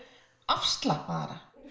afslappaðra